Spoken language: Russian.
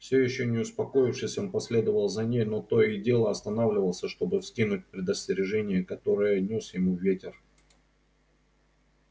все ещё не успокоившись он последовал за ней но то и дело останавливался чтобы вникнуть в предостережение которое нёс ему ветер